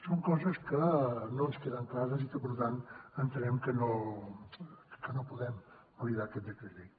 són coses que no ens queden clares i per tant entenem que no podem validar aquest decret llei